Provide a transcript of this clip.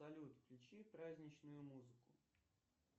салют включи праздничную музыку